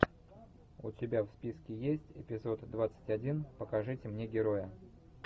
у тебя в списке есть эпизод двадцать один покажите мне героя